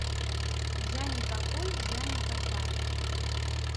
я не такой я не такая